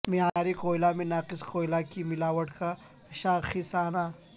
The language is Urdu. معیاری کوئلہ میں ناقص کوئلہ کی ملاوٹ کا شاخسانہ